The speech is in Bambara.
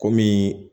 Komi